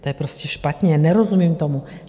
To je prostě špatně, nerozumím tomu.